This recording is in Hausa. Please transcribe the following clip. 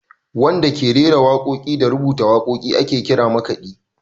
Wanda da ke rera waƙoƙi da rubuta waƙoƙi ake kira makaɗi.